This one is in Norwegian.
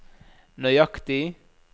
nøyaktig